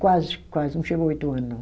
Quase, quase, não chegou oito ano não.